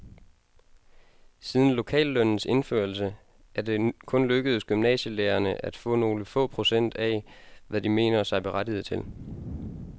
Siden lokallønnens indførelse er det kun lykkedes gymnasielærerne at få nogle få procent af, hvad de mener sig berettiget til.